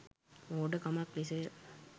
මෝඩකමක් ලෙස ය.